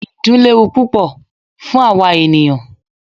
Ìdun léwu púpọ fún àwa ènìyàn.